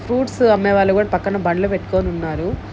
Fruits అమ్మే వాళ్ళు కూడా పక్కన బండ్లు పెట్టుకొని ఉన్నారు.